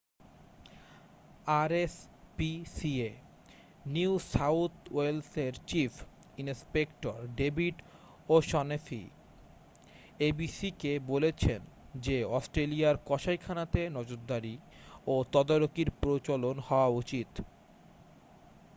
rspca New South ওয়েলসের chief inspector David O'Shaughnessy abc-কে বলেছেন যে অস্ট্রেলিয়ার কসাইখানাতে নজরদারি ও তদারকির প্রচলন হওয়া উচিত।